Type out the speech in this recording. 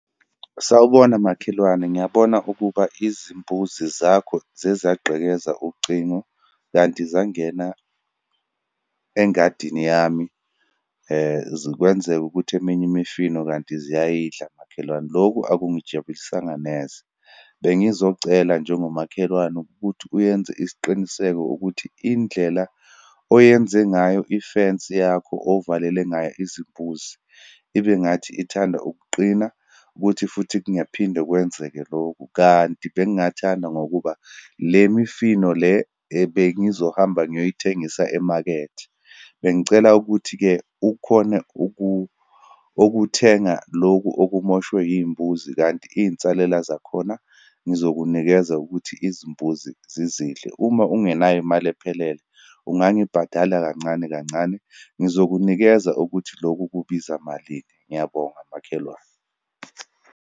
Sawubona makhelwane, ngiyabona ukuba izimbuzi zakho ziyezagqekeza ucingo, kanti zangena engadini yami, zikwenzeke ukuthi eminye imifino, kanti ziyayidla makhelwane. Lokhu akungijabulisanga neze. Bengizocela, njengomakhelwane ukuthi uyenze isiqiniseko ukuthi indlela oyenze ngayo ifensi yakho, ovelele ngayo izimbuzi, ibengathi ithanda ukuqina, ukuthi futhi kungaphinde kwenzeke lokhu. Kanti bengingathanda ngokuba, le mifino le ebengizohamba ngiyoyithengisa emakethe. Bengicela ukuthi-ke, ukhone ukuthenga lokhu okumoshwe iyimbuzi, kanti iyinsalela zakhona ngizokunikeza ukuthi izimbuzi zizidle. Uma ungenayo imali ephelele, ungangibhadala kancane kancane, ngizokunikeza ukuthi loku kubiza malini. Ngiyabonga makhelwane.